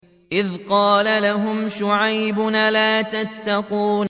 إِذْ قَالَ لَهُمْ شُعَيْبٌ أَلَا تَتَّقُونَ